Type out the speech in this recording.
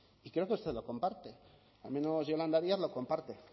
y creo que usted lo comparte al menos yolanda díaz lo comparte